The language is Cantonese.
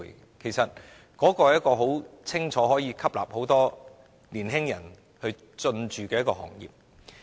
這其實是可以明顯吸納很多年輕人投身的行業。